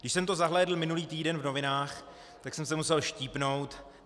Když jsem to zahlédl minulý týden v novinách, tak jsem se musel štípnout.